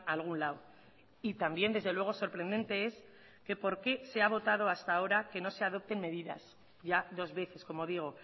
a algún lado y también desde luego sorprendente es que por qué se ha votado hasta ahora que no se adopten medidas ya dos veces como digo